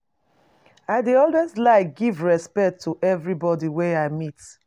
I dey always like give respect to everybody wey I meet